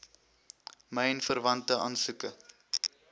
myn verwante aansoeke